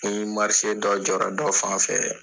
Ni marise dɔ jɔra dɔ fan fɛ